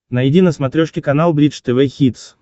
найди на смотрешке канал бридж тв хитс